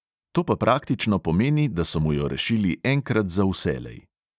To pa praktično pomeni, da so mu jo rešili enkrat za vselej.